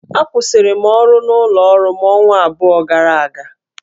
Akwụsịrị m ọrụ n'ụlọ ọrụ m ọnwa abụọ gara aga